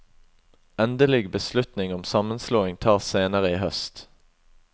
Endelig beslutning om sammenslåing tas senere i høst.